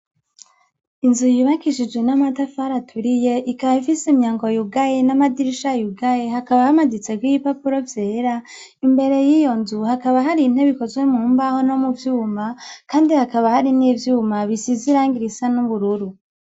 Inzu yubakishijwe n'amatafar' aturiye, ikab'ifis' imyango yugaye n' amadirisha yugaye, hakaba hamaditsek' ibipapuro vyera, imbere yiyonzu hakaba har' intebe zikozwe mumbaho no mu vyuma kandi hakaba har'ivyuma bisiz' irangi risa n'ubururu.